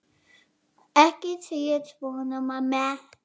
Ekki segja svona, mamma.